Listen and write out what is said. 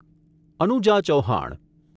Anuja Chauhan